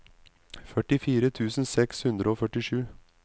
førtifire tusen seks hundre og førtisju